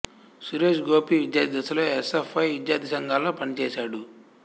సురేష్ గోపి విద్యార్థి దశలో S F I విద్యార్థి సంఘంలో పనిచేశాడు